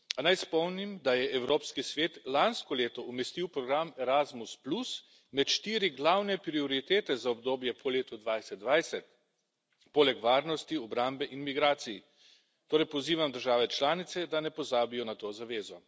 A naj spomnim, da je Evropski svet lansko leto umestil program Erasmus med štiri glavne prioritete za obdobje po letu 2020, poleg varnosti, obrambe in migracij. Torej pozivam države članice, da ne pozabijo na to zavezo.